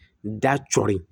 N da cɔri